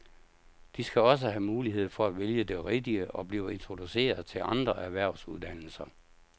De skal også have mulighed for at vælge det rigtige og blive introduceret til andre erhvervsuddannelser.